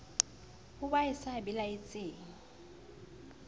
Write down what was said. ho ba e sa belaetseng